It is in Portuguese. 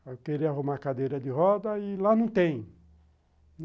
eu queria arrumar cadeira de roda e lá não tem.